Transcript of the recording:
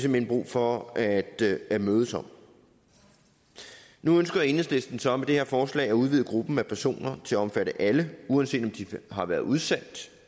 hen brug for at at mødes om nu ønsker enhedslisten så med det her forslag at udvide gruppen af personer til at omfatte alle uanset om de har været udsendt